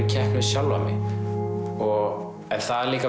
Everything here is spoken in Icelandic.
keppni við sjálfan mig og það líka